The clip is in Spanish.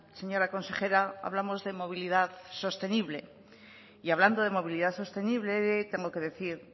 señora consejera hablamos de movilidad sostenible y hablando de movilidad sostenible tengo que decir